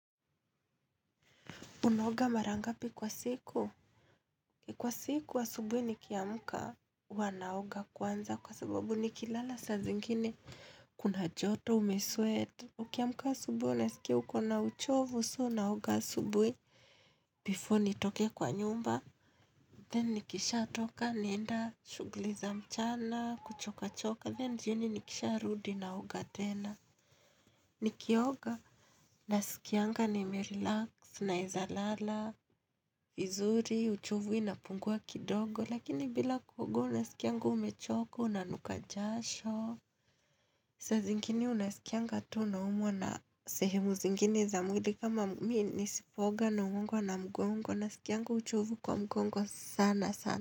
Unaoga marangapi kwa siku? Kwa siku asubuhi nikiamka wanaoga kwanza kwa sababu ni kilala sa zingine kuna joto umesweat. Ukiamka asubuhi nasikia ukona uchovu so unaoga wa asubuhi Before ni toke kwa nyumba, then nikisha toka nienda shuguliza mchana kuchoka choka then jioni nikisha rudinaoga tena. Nikioga, nasikianga ni merilax, naezalala, vizuri, uchovu inapungua kidogo, lakini bila kuoga, nasikianga umechoka unanukajasho. Saa zingine unasikianga tu unaumwa na sehemu zingine za mwili kama mi nisipoga na mungwa na mungwa mungwa, nasikianga uchovu kwa mungwa sana sana.